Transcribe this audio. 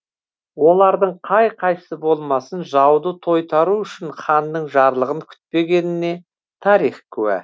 олардың қай қайсы болмасын жауды тойтару үшін ханның жарлығын күтпегеніне тарих куә